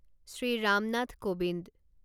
Shri Ram Nath Kovind